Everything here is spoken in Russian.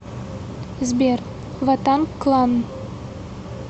сбер ва танг клан